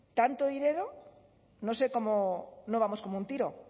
tanto dinero no sé cómo no vamos como un tiro